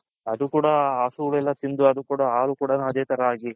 ಅದು ಕೂಡ ಹಸು ತಿಂದು ಅದು ಕೂಡ ಅದೇ ತರ ಹಾಗಿ .